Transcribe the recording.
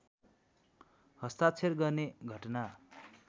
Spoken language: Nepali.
हस्ताक्षर गर्ने घटना